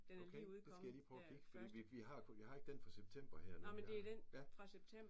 Okay? Det skal jeg lige prøve at kigge fordi vi vi vi har kun vi har ikke den fra september her mener jeg